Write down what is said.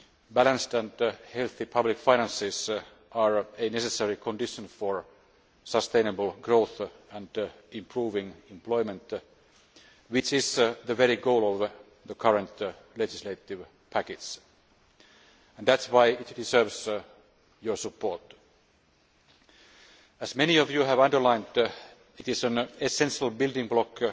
balanced and healthy public finances are a necessary condition for sustainable growth and improving employment, which is the goal of the current legislative package. That is why it deserves your support. As many of you have underlined, it is an essential building block